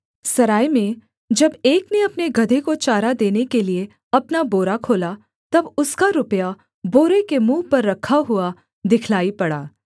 सराय में जब एक ने अपने गदहे को चारा देने के लिये अपना बोरा खोला तब उसका रुपया बोरे के मुँह पर रखा हुआ दिखलाई पड़ा